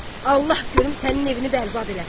Allah görüm sənin evini bərbad eləsin!